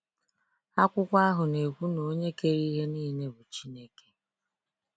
Akwụkwọ ahụ na ekwu na onye kere ihe niile bụ Chineke.